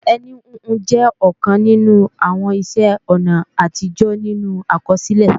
Ẹní híhun jẹ́ ọ̀kan nínú àwọn iṣẹ́-ọ̀nà àtijọ́ nínú àkọsílẹ̀